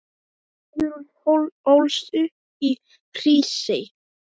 Guðrún ólst upp í Hrísey.